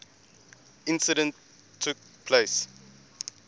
incident took place